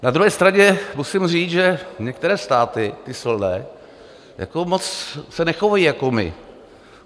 Na druhé straně musím říct, že některé státy, ty silné, se moc nechovají jako my.